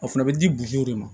A fana bɛ di de ma